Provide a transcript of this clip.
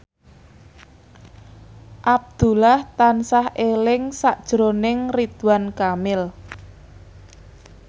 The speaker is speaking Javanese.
Abdullah tansah eling sakjroning Ridwan Kamil